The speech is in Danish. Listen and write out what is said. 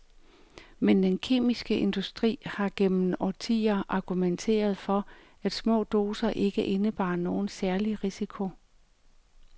Men den kemiske industri har gennem årtier argumenteret for, at små doser ikke indebar nogen særlig risiko.